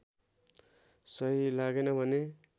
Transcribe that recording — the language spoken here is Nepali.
सही लागेन भने